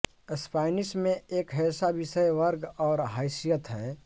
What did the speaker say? Spanish में एक ऐसा विषय वर्ग और हैसियत है